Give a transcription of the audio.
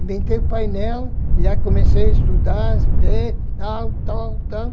Inventei o painel, já comecei a estudar, ver, tal, tal, tal.